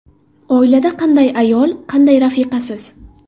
Oilada qanday ayol, qanday rafiqasiz?